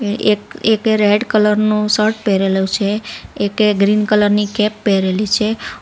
એ એક એકે red colour નુ શર્ટ પેરેલું છે. એકે ગ્રીન કલર ની કેપ પેરેલી છે .